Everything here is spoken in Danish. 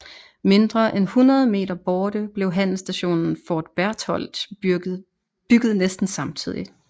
Mindre end hundrede meter borte blev handelsstationen Fort Berthold bygget næsten samtidigt